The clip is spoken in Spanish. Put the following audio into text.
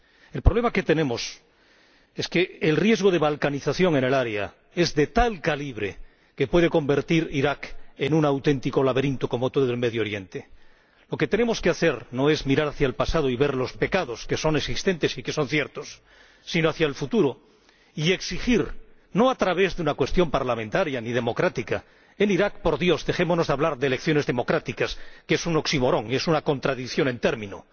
El problema que tenemos es que el riesgo de balcanización en el área es de tal calibre que puede convertir Irak en un auténtico laberinto, como todo Oriente Medio. Lo que tenemos que hacer no es mirar hacia el pasado y ver los pecados, que son existentes y que son ciertos, sino hacia el futuro y exigir, no a través de una mera pregunta parlamentaria o de una petición de democracia, un consenso nacional. En Irak, por Dios, dejémonos de hablar de elecciones democráticas, que es un oxímoron, es una contradicción en los términos.